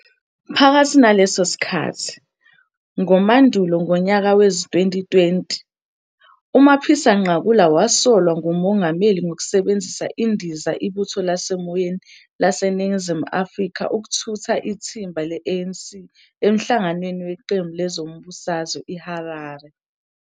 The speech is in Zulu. Phakathi naleso sikhathi, ngo-Mandulo ngonyaka wezi-2020, uMapisa-Nqakula wasolwa nguMongameli ngokusebenzisa indiza Ibutho Lasemoyeni LaseNingizimu Afrika ukuthutha ithimba le-ANC emhlanganweni weqembu lezombusazwe I-Harare.